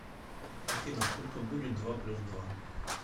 афина сколько будет два плюс два